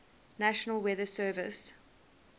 national weather service